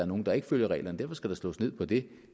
nogle der ikke følger reglerne derfor skal der slås ned på det